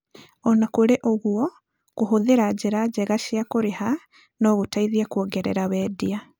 O na kũrĩ ũguo, kũhũthĩra njĩra njega cia kũrĩha no gũteithie kwongerera wendia.